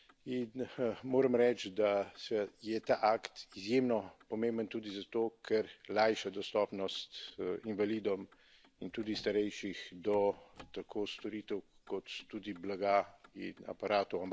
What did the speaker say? In moram reči, da seveda je ta akt izjemno pomemben tudi zato, ker lajša dostopnost invalidom in tudi starejših do tako storitev kot tudi blaga in aparatov.